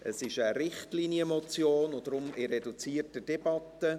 Es ist eine Richtlinienmotion, und deshalb führen wir eine reduzierte Debatte.